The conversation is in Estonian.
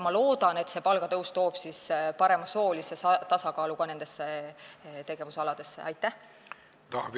Ma loodan, et see palgatõus toob nendesse tegevusaladesse ka parema soolise tasakaalu.